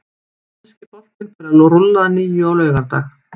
Enski boltinn fer að rúlla að nýju á laugardag.